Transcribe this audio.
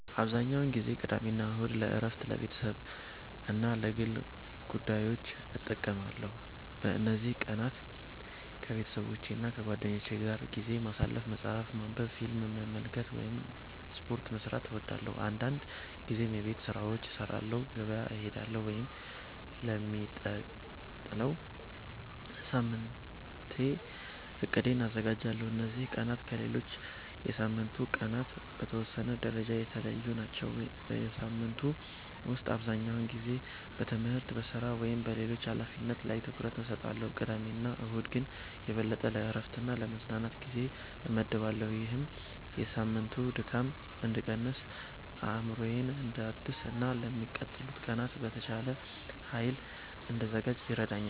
**"አብዛኛውን ጊዜ ቅዳሜና እሁድን ለእረፍት፣ ለቤተሰብ እና ለግል ጉዳዮች እጠቀማለሁ። በእነዚህ ቀናት ከቤተሰቦቼና ከጓደኞቼ ጋር ጊዜ ማሳለፍ፣ መጽሐፍ ማንበብ፣ ፊልም መመልከት ወይም ስፖርት መስራት እወዳለሁ። አንዳንድ ጊዜም የቤት ስራዎችን እሰራለሁ፣ ገበያ እሄዳለሁ ወይም ለሚቀጥለው ሳምንት እቅዴን አዘጋጃለሁ። እነዚህ ቀናት ከሌሎች የሳምንቱ ቀናት በተወሰነ ደረጃ የተለዩ ናቸው። በሳምንቱ ውስጥ አብዛኛውን ጊዜ በትምህርት፣ በሥራ ወይም በሌሎች ኃላፊነቶች ላይ ትኩረት እሰጣለሁ፣ ቅዳሜና እሁድ ግን የበለጠ ለእረፍትና ለመዝናናት ጊዜ እመድባለሁ። ይህም የሳምንቱን ድካም እንድቀንስ፣ አእምሮዬን እንዳድስ እና ለሚቀጥሉት ቀናት በተሻለ ኃይል እንድዘጋጅ ይረዳኛል።"